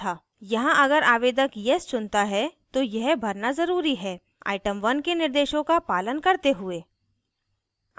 यहाँ अगर आवेदक yes चुनता है तो यह भरना ज़रूरी है item 1 के निर्देशों का पालन करते हुए